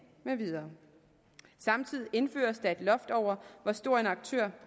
med videre samtidig indføres der et loft over hvor stor en aktør